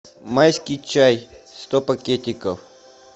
майский чай сто пакетиков